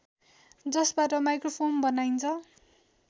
जसबाट माइक्रोफोम बनाइन्छ